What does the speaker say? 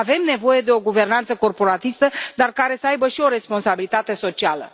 Avem nevoie de o guvernanță corporatistă, dar care să aibă și o responsabilitate socială.